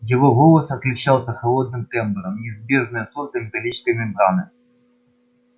его голос отличался холодным тембром неизбежное свойство металлической мембраны